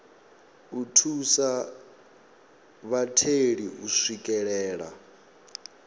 u thusa vhatheli u swikelela